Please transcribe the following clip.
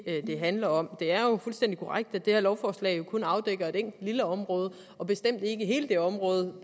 det handler om det er jo fuldstændig korrekt at det her lovforslag jo kun afdækker et enkelt lille område og bestemt ikke hele det område